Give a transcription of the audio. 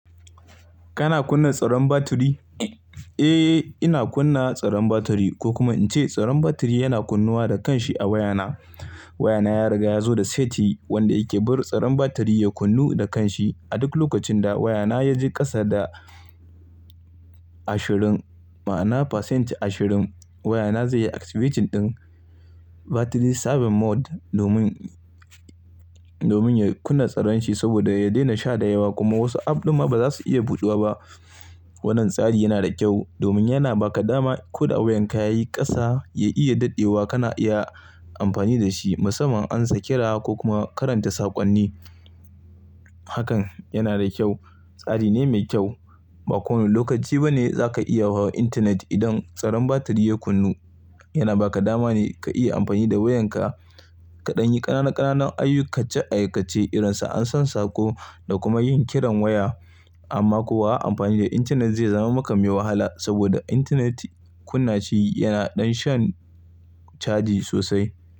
Kana kunna tsaron batiri? Eh, ina kunna tsaron batiri ko kuma in ce tsaron batiri yana kunnuwa da kanshi a wayana. Wayana ya riga ya zo da seti wanda yake bari tsaron batiri ya kunnu da kanshi. A duk lokacin da wayana ya je ƙasa da ashirin, ma'ana pasenti ashirin, wayana zai yi activating din battery saving mode domin, domin ya kunna tsaron shi saboda ya daina sha da yawa kuma wasu app ɗin ma ba za su iya buɗuwa ba. Wannan tsari yana da kyau domin yana ba ka dama ko da wayan ka yayi ƙasa ya iya daɗewa kana iya amfani da shi musamman amsa kira ko kuma karanta saƙonni. Hakan yana da kyau, tsari ne mai kyau. Ba kowane lokaci ba ne za ka iya hawa intanet idan tsaron batiri ya kunnu. Yana ba ka dama ne ka iya amfani da wayan ka kaɗan yi ƙanana ƙanana ayyukan aikace irin su ansan sako da kuma yin kiran waya amma kuwa amfani da intanet zai zama maka mai wahala saboda intanet kunna shi yana ɗan shan caji sosai.